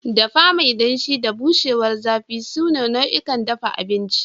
Dafa mai danshi da bushewar zafi sune nau'ikan dafa abinci.